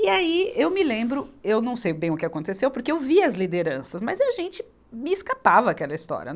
E aí, eu me lembro, eu não sei bem o que aconteceu, porque eu vi as lideranças, mas a gente me escapava aquela história.